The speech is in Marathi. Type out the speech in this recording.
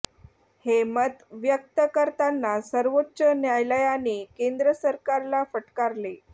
हे मत व्यक्त करताना सर्वोच्च न्यायालयाने केंद्र सरकारला फटकारले